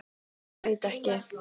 Ég veit ekki.